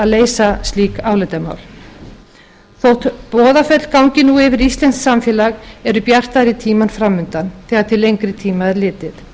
leysa slík álitamál þótt boðaföll gangi nú yfir íslenskt samfélag eru bjartari tímar framundan þegar til lengri tíma er litið